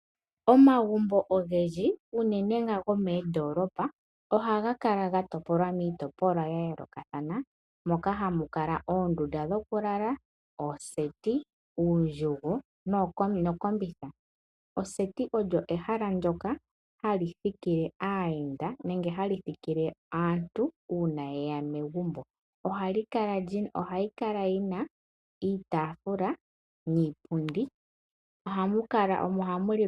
Omagumbo ogendji uunene nga gomondoolopa ohaga kala ga topolwa miitopolwa ya yoolokathana moka hamu kala oondundu dhokuu lala, ooseti, uundjugo, nokombitha. Oseti olyo ehala ndyoka hali thikile aayenda nenge hali thikile aantu uuna yeya megumbo ohali kala lina iitafula niipundi, omo hamu lilwa.